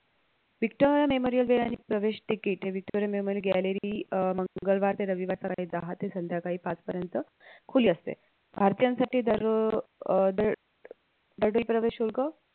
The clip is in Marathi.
व्हिक्टोरिया memorial way आणि प्रवेश ticket हे व्हिक्टोरिया memorial gallery अह मंगळवार ते रविवार पर्यंत सकाळी दहा ते संध्याकाळी पाच पर्यंत खुले असते भारतीयांसाठी दरो अह दर दरडोई प्रवेश शुल्क